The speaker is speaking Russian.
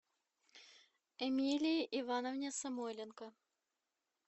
эмилии ивановне самойленко